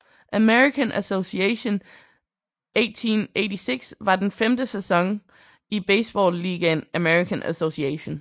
American Association 1886 var den femte sæson i baseballligaen American Association